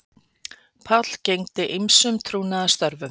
Páll gegndi ýmsum trúnaðarstörfum